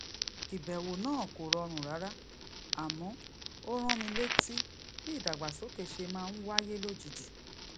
ìbèwò náà kò rọrùn rárá àmó ó rán mi létí bí ìdàgbàsókè ṣe máa ń wáyé lójijì